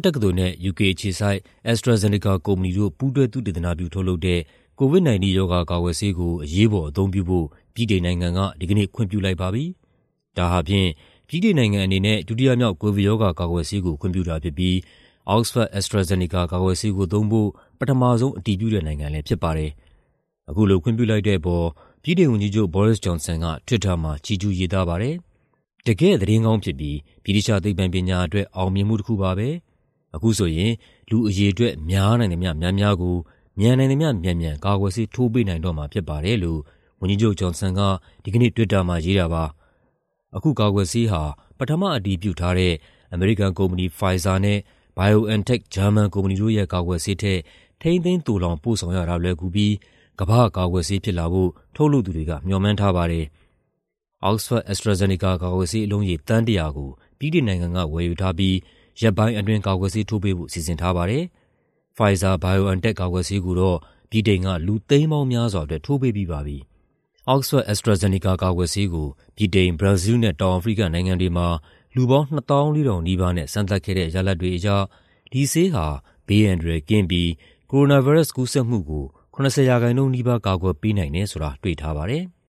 တက္ကသိုလ်နဲ့ ယူကေအခြေစိုက် AstraZeneca ကုမ္ပဏီတို့ ပူးတွဲ သုတေသနပြုထုတ်လုပ်တဲ့ COVID-19 ရောဂါကာကွယ်ဆေးကို အရေးပေါ်အသုံးပြုဖို့ ဗြိတိန်နိုင်ငံက ဒီကနေ့ ခွင့်ပြုလိုက်ပါပြီ။ ဒါဟာဖြင့် ဗြိတိန်နိုင်ငံအနေနဲ့ ဒုတိယမြောက် ကိုဗစ်ရောဂါကာကွယ်ဆေးကို ခွင့်ပြုတာဖြစ်ပြီး Oxford-AstraZeneca ကာကွယ်ဆေးကိုသုံးဖို့ ပထမဆုံး အတည်ပြုတဲ့နိုင်ငံလည်းဖြစ်ပါတယ်။ အခုလို ခွင့်ပြုလိုက်တဲ့အပေါ် ဗြိတိန်ဝန်ကြီးချုပ် Boris Johnson က Twitter မှာ ချီးကျူးရေးသားခဲ့ပါတယ်။ "တကယ့်သတင်းကောင်းဖြစ်ပြီး ဗြိတိသ ျှသိပ္ပံပညာအတွက် အောင်မြင်မှုတခုပါပဲ။ အခုဆိုရင် လူအရေအတွက် များနိုင်သမ ျှ များများကို မြန်နိုင်သမ ျှမြန်မြန် ကာကွယ်ဆေးထိုးပေးနိုင်တော့မှာဖြစ်ပါတယ်။" လို့ ဝန်ကြီးချုပ် Johnson က ဒီကနေ့ Twitter မှာရေးခဲ့တာပါ။ အခုကာကွယ်ဆေးဟာ ပထမအတည်ပြုထားတဲ့ အမေရိကန်ကုမ္ပဏီ Pfizer နဲ့ BioNTech ဂျာမန်ကုမ္ပဏီတို့ရဲ့ ကာကွယ်ဆေးထက် ထိန်းသိမ်းသိုလှောင်ပို့ဆောင်ရတာ လွယ်ကူပြီး "ကမ္ဘာ့ကာကွယ်ဆေး" ဖြစ်လာဖို့ ထုတ်လုပ်သူတွေက မေ ျှာ်မှန်းထားပါတယ်။ Oxford-AstraZeneca ကာကွယ်ဆေး အလုံးရေ သန်း ၁၀၀ ကို ဗြိတိန်နိုင်ငံက ဝယ်ယူထားပြီး ရက်ပိုင်းအတွင်း ကာကွယ်ဆေးထိုးပေးဖို့ စီစဉ်ထားပါတယ်။ Pfizer-BioNTech ကာကွယ်ဆေးကိုတော့ ဗြိတိန်က လူသိန်းပေါင်းများစွာအတွက် ထိုးပေးပြီးပါပြီ။ Oxford-AstraZeneca ကာကွယ်ဆေးကို ဗြိတိန်၊ ဘရာဇီးလ်နဲ့ တောင်အာဖရိကနိုင်ငံတွေမှာ လူပေါင်း ၂၄,၀၀၀ နီးပါးနဲ့ စမ်းသပ်ခဲ့တဲ့ ရလဒ်တွေအရ ဒီဆေးဟာ ဘေးအန္တရာယ်ကင်းပြီး ကိုရိုနာဗိုင်းရပ်စ် ကူးစက်မှုကို ၇၀% နီးပါး ကာကွယ်ပေးနိုင်တယ်ဆိုတာ တွေ့ထားပါတယ်။